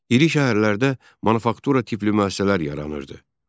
İri şəhərlərdə manufaktura tipli müəssisələr yaranırdı.